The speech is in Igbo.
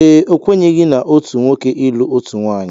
Ee, okwenyeghi na otu nwoke ilụ otu nwaanyị.